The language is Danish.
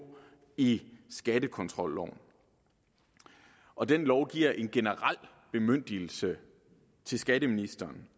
i skattekontrolloven og den lov giver en generel bemyndigelse til skatteministeren